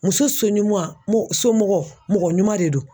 Muso somɔgɔ mɔgɔ ɲuman de don